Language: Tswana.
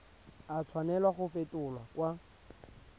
a tshwanela go fetolwa kwa